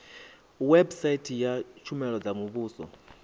website ya tshumelo dza muvhuso